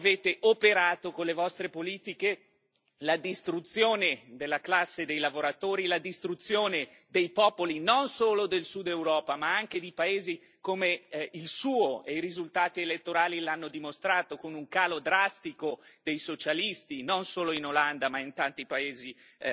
Voi avete operato con le vostre politiche la distruzione della classe dei lavoratori, la distruzione dei popoli, non solo del Sud Europa ma anche di paesi come il suo, e i risultati elettorali l'hanno dimostrato, con un calo drastico dei socialisti non solo in Olanda ma in tanti paesi